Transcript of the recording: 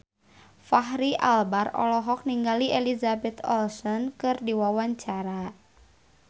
Fachri Albar olohok ningali Elizabeth Olsen keur diwawancara